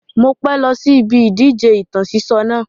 Mo pẹ́ lọ sí ibi ìdíje ìtàn sísọ náà